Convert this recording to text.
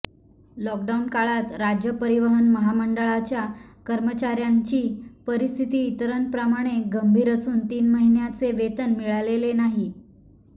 lockdown काळात राज्य परिवहन महामंडळाच्या कर्मचाऱ्यांची परिस्थिती इतरांप्रमाणे गंभीर असून तीन महिन्यांचे वेतन मिळालेले नाही